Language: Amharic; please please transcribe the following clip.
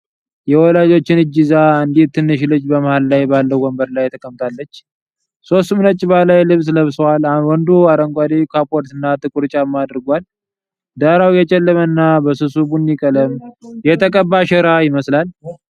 የወላጆቿን እጅ ይዛ አንዲት ትንሽ ልጅ በመሃል ላይ ባለው ወንበር ላይ ተቀምጣለች። ሦስቱም ነጭ ባህላዊ ልብስ ለብሰዋል፣ ወንዱ አረንጓዴ ካፖርትና ጥቁር ጫማ አድርጓል። ዳራው የጨለመና በስሱ ቡኒ ቀለም የተቀባ ሸራ ይመስላል።